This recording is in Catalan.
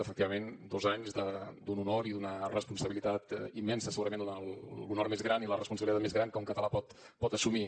efectivament dos anys d’un honor i d’una responsabilitat immensa segurament l’honor més gran i la responsabilitat més gran que un català pot assumir